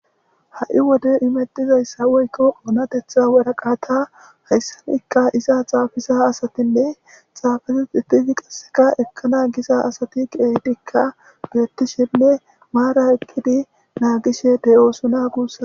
ha7i wode imettizayssa woykko oonatetha waraqata hayssanikka iza xaafisa asatinne xaafese itidi qasseka ekkana gisa asati qeedikka geettishenne maara ekkidi naagishe de7oosona guussa